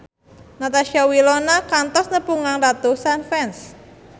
Natasha Wilona kantos nepungan ratusan fans